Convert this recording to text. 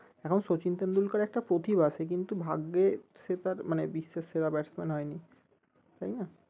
এখন সচিন টেন্ডুলকার একটা প্রতিভা সে কিন্তু ভাগ্যে সে তার মানে বিশ্বের সেরা batsman হয়নি তাই না?